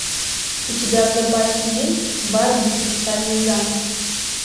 у тебя в запасе есть барби и хрустальный замок